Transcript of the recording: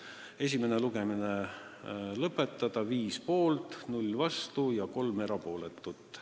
Ettepanek esimene lugemine lõpetada: 5 poolt, 0 vastu ja 3 erapooletut.